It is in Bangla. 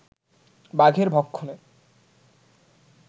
বাঘের ভক্ষণে